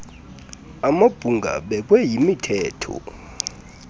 amabhunga abekwe yimithetho